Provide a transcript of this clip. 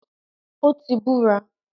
Ó ti “ búra”.